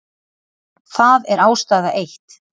Það er ástæða eitt.